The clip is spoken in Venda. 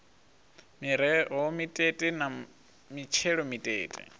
miroho mitete na mitshelo mitete